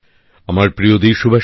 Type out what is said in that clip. নতুনদিল্লি ২৯শে আগস্ট ২০২১